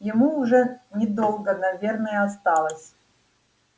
ему уже недолго наверное осталось